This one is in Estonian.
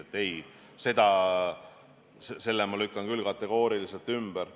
Ei, sellise arvamuse ma lükkan küll kategooriliselt ümber.